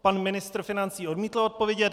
Pan ministr financí odmítl odpovědět.